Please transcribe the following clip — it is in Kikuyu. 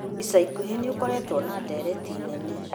Ica ikuhĩ nĩ gũkoretwo na ndereti nene